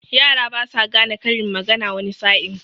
Yara basa gane karin magana wani sa'in.